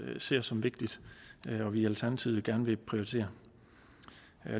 ser som vigtigt og som vi i alternativet gerne vil prioritere